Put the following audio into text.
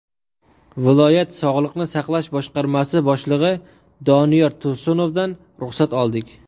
Viloyat Sog‘liqni saqlash boshqarmasi boshlig‘i Doniyor Tursunovdan ruxsat oldik.